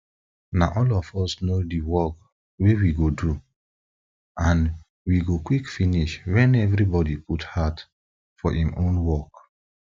na all of us know di work wey we go do and we go quick finish wen evribodi put heart for im own work